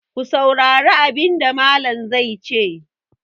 Ku saurari abin da Mallam zai ce!